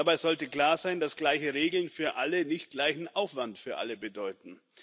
Dabei sollte klar sein, dass gleiche Regeln für alle nicht gleichen Aufwand für alle bedeuten.